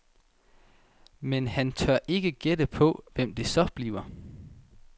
Men han tør ikke gætte på, hvem det så bliver.